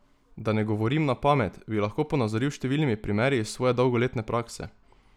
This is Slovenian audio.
Da ne govorim na pamet, bi lahko ponazoril s številnimi primeri iz svoje dolgoletne prakse.